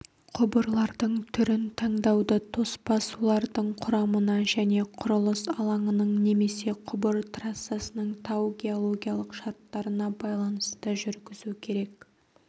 құбырлардың түрін таңдауды тоспа сулардың құрамына және құрылыс алаңының немесе құбыр трассасының тау-геологиялық шарттарына байланысты жүргізу керек